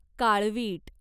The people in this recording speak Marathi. काळवीट